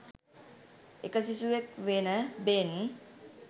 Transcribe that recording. එක සිසුවෙක් වෙන බෙන්